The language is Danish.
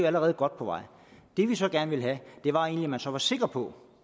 allerede godt på vej det vi så gerne ville have var egentlig at man så var sikker på